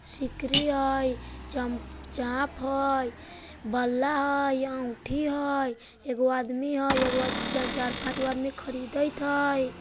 सिकरी हैं चम चाप हैं बल्ला हेय इ अंगूठी हेय एगो आदमी हेय एगो अत्या चार पाँच गो आदमी खरीदएत हेय।